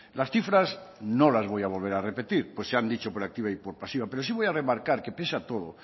las cifras no las voy a volver a repetir pues se han dicho por activa y por pasiva pero sí voy a remarcar que pese a todo